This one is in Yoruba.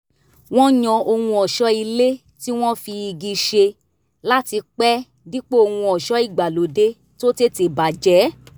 wọ́n yàn ohun ọ̀ṣọ́ ilé tí wọ́n fi igi ṣe láti pẹ́ dípò ohun ọ̀ṣọ́ ìgbàlóde tó tètè bàjẹ́